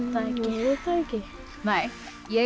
það ekki ég